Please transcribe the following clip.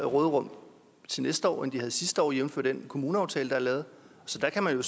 råderum til næste år end de havde sidste år jævnfør den kommuneaftale der er lavet så der kan man